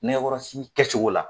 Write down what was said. Nɛgɛkɔrɔsigi kɛ cogo la.